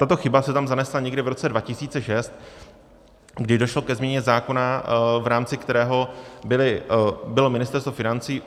Tato chyba se tam zanesla někdy v roce 2006, kdy došlo ke změně zákona, v rámci kterého bylo Ministerstvu financí...